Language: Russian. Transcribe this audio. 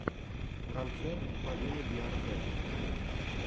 концерт полины биарзэт